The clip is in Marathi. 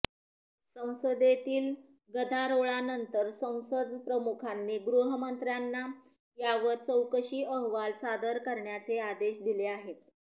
संसदेतील गदारोळानंतर संसद प्रमुखांनी गृहमंत्र्यांना यावर चौकशी अहवाल सादर करण्याचे आदेश दिले आहेत